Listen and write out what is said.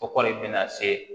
Kɔkɔli be na se